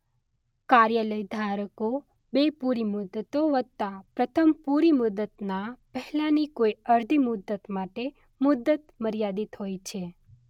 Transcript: કાર્યાલય ધારકો બે પૂરી મુદ્દતો વત્તા પ્રથમ પૂરી મુદ્દતના પહેલાની કોઈ અર્ધી મુદ્દત માટે મુદ્દત મર્યાદિત હોય છે.